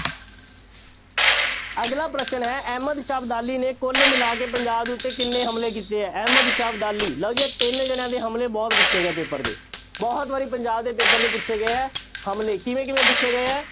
ਅਗਲਾ ਪ੍ਰਸ਼ਨ ਹੈੈ ਅਹਿਮਦ ਸ਼ਾਹ ਅਬਦਾਲੀ ਨੇ ਕੁੱਲ ਮਿਲਾ ਕੇ ਪੰਜਾਬ ਦੇ ਉੱਤੇ ਕਿੰਨੇ ਹਮਲੇ ਕੀਤੇ ਹੈ ਅਹਿਮਦ ਸ਼ਾਹ ਅਬਦਾਲੀ, ਲਓ ਜੀ ਆਹ ਤਿੰਨ ਜਾਣਿਆਂ ਦੇ ਹਮਲੇ ਬਹੁਤ ਪੁੱਛੇ ਗਏ ਆ ਪੇਪਰ 'ਚ ਬਹੁਤ ਵਾਰੀ ਪੰਜਾਬ ਦੇ ਪੇਪਰ 'ਚ ਪੁੱਛੇ ਗਏ ਹੈ ਹਮਲੇ ਕਿਹਦੇ ਕਿਹਦੇ ਪੁੱਛੇ ਗਏ ਹੈ,